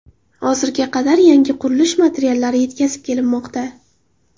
Hozirga qadar yangi qurilish materiallari yetkazib kelinmoqda.